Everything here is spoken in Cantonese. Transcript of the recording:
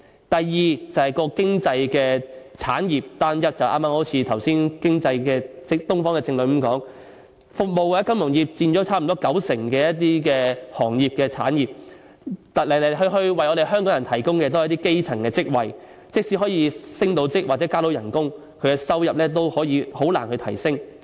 第二是經濟產業單一，一如剛才《東方日報》的政論所說，服務或金融業佔了差不多九成行業和產業，來來去去為香港人提供的都是基層職位，即使可以升職或加薪，收入仍然難以提升。